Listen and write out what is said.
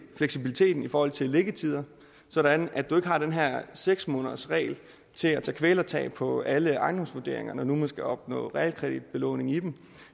fleksibiliteten i forhold til liggetider sådan at du ikke har den her seks månedersregel til at tage kvælertag på alle ejendomsvurderinger når nu man skal opnå realkreditbelåning i dem